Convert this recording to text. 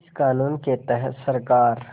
इस क़ानून के तहत सरकार